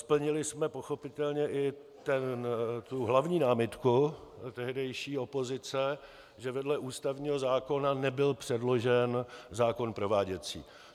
Splnili jsme pochopitelně i tu hlavní námitku tehdejší opozice, že vedle ústavního zákona nebyl předložen zákon prováděcí.